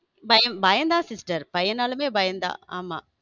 பயம் பயம் தான் sister பையனாலுமே பயம் தான் ஆமா.